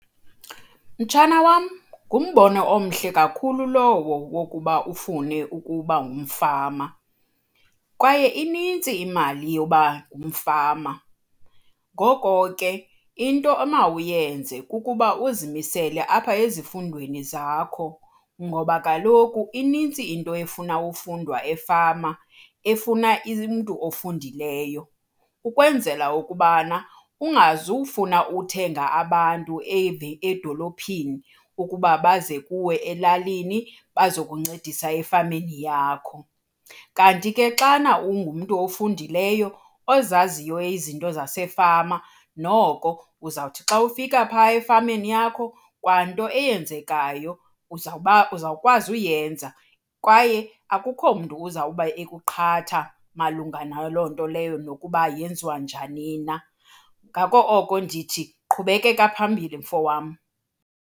Mtshana wam, ngumbono omhle kakhulu lowo wokuba ufune ukuba ngumfama kwaye inintsi imali yoba ngumfama. Ngoko ke into omawuyenze kukuba uzimisele apha ezifundweni zakho ngoba kaloku inintsi into efuna ukufundwa efama, efuna umntu ofundileyo. Ukwenzela ukuba ungazufuna ukuthenga abantu edolophini ukuba baze kuwe elalini bazokuncedisa efameni yakho. Kanti ke xana ungumntu ofundileyo ozaziyo izinto zasefama, noko uzawuthi xa ufika phaa efameni yakho, kwanto eyenzekayo uzawukwazi uyenza kwaye akukho mntu uzawuba ekuqhata malunga naloo nto leyo nokuba yenziwa njani na. Ngako oko ndithi, qhubekeka phambili mfo wam.